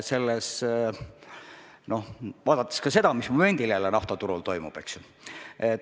Me ju näeme, mis momendil jälle naftaturul toimub, eks ju.